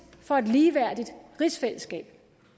for et ligeværdigt rigsfællesskab